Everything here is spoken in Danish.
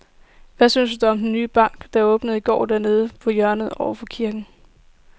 Hvad synes du om den nye bank, der åbnede i går dernede på hjørnet over for kirken?